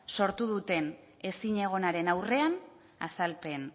sortu duten ezinegonaren aurrean azalpen